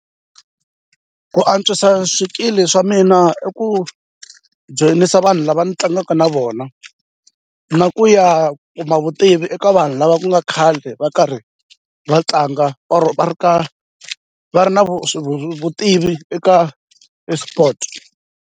Ku antswisa swikili swa mina i ku joyinisa vanhu lava ni tlangaka na vona na ku ya kuma vutivi eka vanhu lava ku nga khale va karhi va tlanga or va ri ka va ri na vutivi eka eSport.